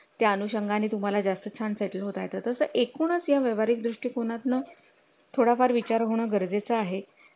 त्या नुषंगाने तुम्हाला जास्त छान सेटल होतात असं एकूणच या व्यवहारिक दृष्टीकोना तून थोडा फार विचार होणं गरजेचं आहे